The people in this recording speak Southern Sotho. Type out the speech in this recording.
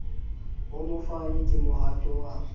ho mofani ke mohato wa